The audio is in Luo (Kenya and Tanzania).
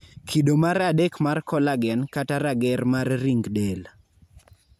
kido mar adek mar collagen(rager mag ring del)